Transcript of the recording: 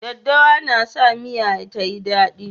Daddawa na sa miya ta yi dadi.